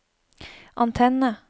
antenne